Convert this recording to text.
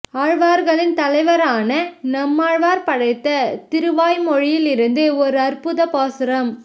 ஆழ்வார்களின் தலைவரான நம்மாழ்வார் படைத்த திருவாய்மொழியில் இருந்து ஓர் அற்புதப் பாசுரம்